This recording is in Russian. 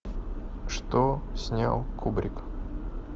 что снял кубрик